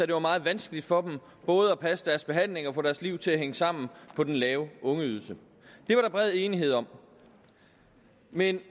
det var meget vanskeligt for dem både at passe deres behandling og få deres liv til at hænge sammen på den lave ungeydelsen det var der bred enighed om men